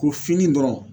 Ko fini dɔrɔn